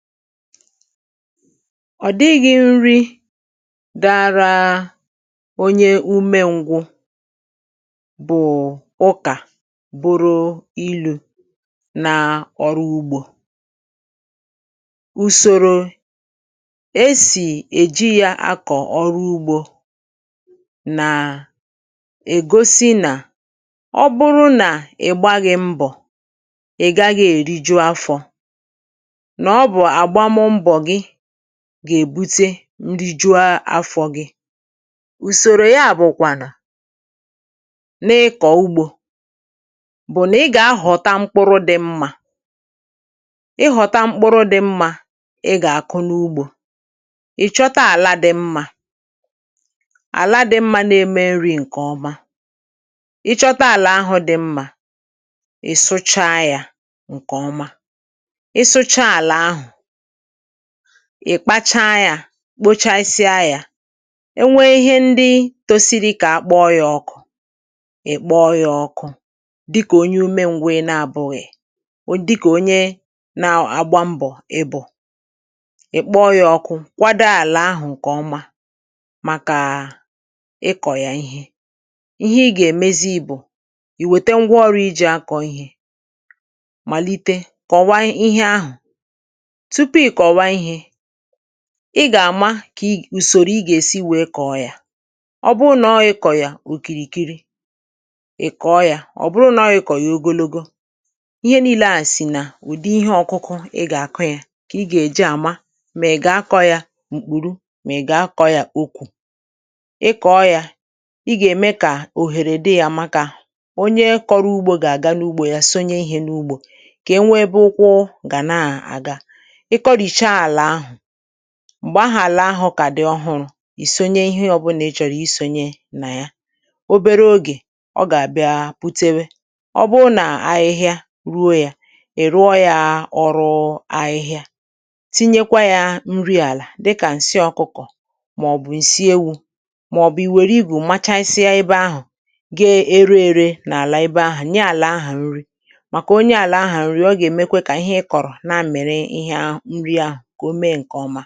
Ọ̀dịghị̇ nri dịara onye ume ngwụ bụ̀ ụkà, bụrụ ilu̇ na ọrụ ugbȯ. Usoro e sì èji yȧ akọ̀ ọrụ ugbȯ nà ègosi nà ọ bụrụ nà ị̀gbaghị mbọ̀, um ị̀gaghị èri juo afọ̇. Gà-èbute ndi ju ụsòrò ya bụ̀kwà nà na-ịkọ̀ ugbȯ, bụ̀ nà ị gà-ahọ̀ta mkpụrụ dị mmȧ. Ị ghọ̀ta mkpụrụ dị̇ mmȧ, um ị gà-àkụ n’ugbȯ. Ị̀chọta àla dị̇ mmȧ, àla dị̇ mmȧ na-eme nri̇ ǹkè ọma. Ị chọta àlà ahụ̇ dị̀ mmȧ, um ị̀ sụcha yȧ ǹkè ọma, ị̀ kpacha yȧ kpochasịa yȧ. E nwee ihe ndị tosi dị, um kà akpọọ yȧ ọkụ̇. Ị̀ kpọọ yȧ ọkụ̇ dịkà onye ume ngwe na-abụ̇ghị̀, dịkà onye na-agba mbọ̀.Ị̀ bụ̀ ị̀ kpọọ yȧ ọkụ̇, um kwado àlà ahụ̀ ǹkè ọma. Màkà ị kọ̀ yà ihe, ihe ị gà-èmezi ibù, ì wète ngwa ọrụ̇ ijì akọ̀ ihe, um màlite kọ̀wa ihe ahụ̀ ị gà-àma, kà ùsòrò ị gà-èsi wèe kọ̀ọ yȧ. Ọ bụrụ nà ọ ị kọ̀yà òkìrìkiri, ị̀ kọ̀ọ yȧ. Ọ̀ bụrụ nà ọ ị kọ̀yà ogologo, um ihe niilė à sì nà ùdi ihe ọ̇kụkụ, ị gà-àkọ yȧ. Kà ị gà-èji àma, um mèè gà-akọ̇ yȧ m̀kpùru, mèè gà-akọ̇ yȧ okwù. Ị kọ̀ọ yȧ, ị gà-ème kà òhèrè di yȧ. Màkà onye kọrọ ugbȯ gà-àga n’ugbȯ, um yȧ sonye ihe n’ugbȯ. Kà enwebe ụkwụ, gà na-àga m̀gbè ahụ̀ àlà ahụ̀ kà dị ọhụrụ̇.Isonye ihe ọbụlà ị chọ̀rọ̀, um isònye nà ya. Obere ogè ọ gà-àbịa pụtewe, ọ bụụ nà ahịhịa ruo yȧ. Ì rụọ yȧ ọrụ ahịhịa, um tinyekwa yȧ nri àlà, dịkà ǹsị ọ̀kụkọ̀, màọbụ̀ ǹsị ewu̇, màọbụ̀ i were igù, machasịa ebe ahụ̀, um gaa ere ere n’àlà ebe ahụ̀.Nye àlà ahụ̀ nri, màkà onye àlà ahụ̀ nri ọ gà-èmekwe, kà ihe ị kọ̀rọ̀ na-àmèrè ihe ahụ̀ ǹkè ọma.